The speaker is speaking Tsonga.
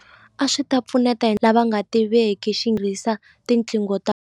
A swi ta pfuneta hi lava nga tiveki tinqingo ta.